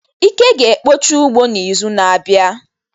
Ike ga-ekpocha ụgbọ n'izu na-abịa.